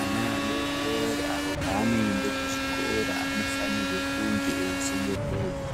Ana adodori avo paanoende kuzvikora anofanirwe kunge eichengetedzwa